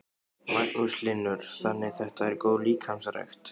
Magnús Hlynur: Þannig þetta er góð líkamsrækt?